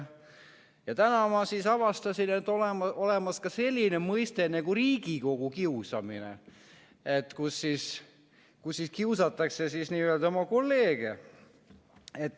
Täna ma avastasin, et on olemas ka selline mõiste nagu Riigikogu kiusamine, kui kiusatakse oma kolleege.